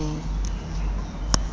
a se a le motjhining